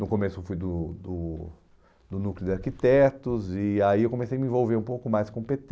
No começo eu fui do do do Núcleo de Arquitetos e aí eu comecei a me envolver um pouco mais com o pê tê.